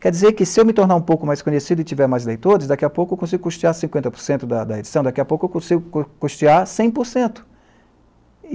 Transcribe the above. Quer dizer que se eu me tornar um pouco mais conhecido e tiver mais leitores, daqui a pouco eu consigo custear cinquenta por cento da da edição, daqui a pouco eu consigo cu custear cem por cento.